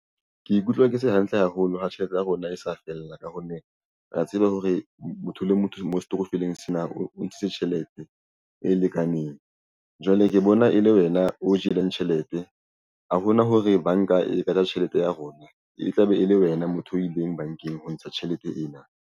Ke ikutlwa ke se hantle haholo ha tjhelete ya rona e sa fella ka ho neng re ya tseba hore motho le motho mo setokofeleng sena o ntshitse tjhelete e lekaneng jwale re bona e le wena o jeleng tjhelete. Ha hona hore banka e ka ja tjhelete ya rona e tlabe e le wena motho o ileng bankeng ho ntsha tjhelete ena.